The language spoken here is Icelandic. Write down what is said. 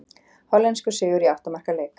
Hollenskur sigur í átta marka leik